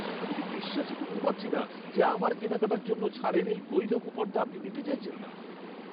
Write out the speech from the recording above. আমি তো বিশ্বাসই করতে পারছি না যে আমার কেনাকাটার জন্য ছাড়ের এই বৈধ কুপনটা আপনি নিতে চাইছেন না।